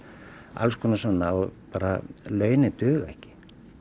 alls konar svona og launin duga ekki